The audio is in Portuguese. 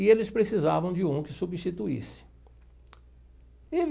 E eles precisavam de um que substituísse e me.